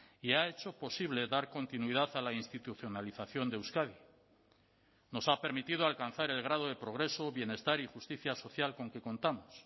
y ha hecho posible dar continuidad a la institucionalización de euskadi nos ha permitido alcanzar el grado de progreso bienestar y justicia social con que contamos